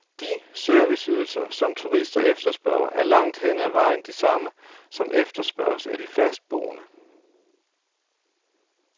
De serviceydelser, som turister efterspørger, er langt hen ad vejen de samme, som efterspørges af de fastboende.